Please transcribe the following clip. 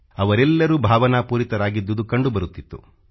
ಅವರೆಲ್ಲರೂ ಭಾವನಾಪೂರಿತರಾಗಿದ್ದುದು ಕಂಡುಬರುತ್ತಿತ್ತು